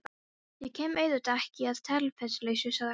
Ég kem auðvitað ekki að tilefnislausu, sagði hann.